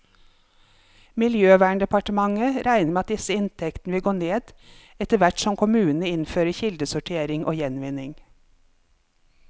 Miljøverndepartementet regner med at disse inntektene vil gå ned, etterhvert som kommunene innfører kildesortering og gjenvinning.